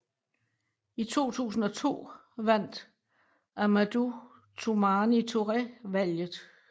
I 2002 vandt Amadou Toumani Touré valget